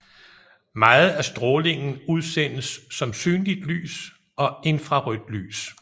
Meget af strålingen udsendes som synligt lys og infrarødt lys